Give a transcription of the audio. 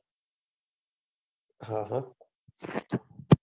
હ હ